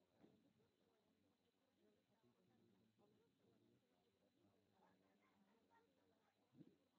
Baaritaanka hidde-sidaha ma loo heli karaa GM kowaad gangliosidosis?